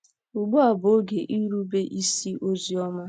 Ugbu a bụ oge Irube isi ozi ọma